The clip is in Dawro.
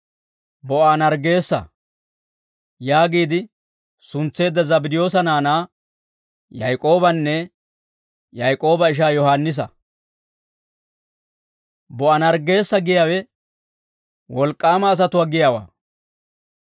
Bo'aanerggeessa yaagiide suntseedda Zabddiyoosa naanaa Yaak'oobanne Yaak'ooba ishaa Yohaannisa. «Bo'aanerggeessa» giyaawe «Wolk'k'aama asatuwaa» giyaawaa.